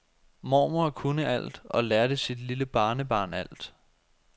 Mormor kunne alt og lærte sit lille barnebarn alt.